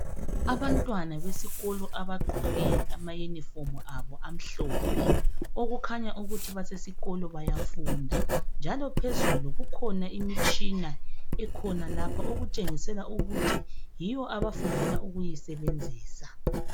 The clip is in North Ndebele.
Abantwana besikolo abagqoke amayunifomu abo amhlophe okukhanya ukuthi basesikolo bayafunda njalo phezulu kukhona imitshina ekhona lapha okutshengisela ukuthi yiyo abafundela ukuyisebenzisa.